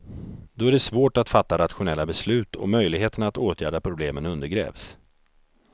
Då är det svårt att fatta rationella beslut och möjligheterna att åtgärda problemen undergrävs.